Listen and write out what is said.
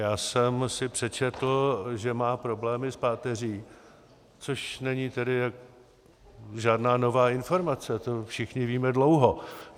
Já jsem si přečetl, že má problémy s páteří, což není tedy žádná nová informace, to všichni víme dlouho.